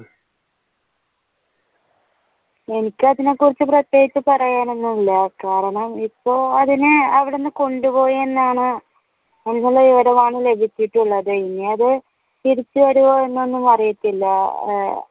എനിക്ക് അതിനെ കുറിച്ച് പ്രത്യേകിച്ചു പറയാൻ ഒന്നും ഇല്ല കാരണം ഇപ്പോൾ അതിനെ അവിടെ നിന്ന് കൊണ്ടുപോയിയെന്നാണ് ഇനി അത് തിരിച്ചുവരുവോ എന്നൊന്നും അറിയത്തില്ല.